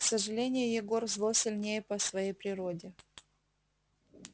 к сожалению егор зло сильнее по своей природе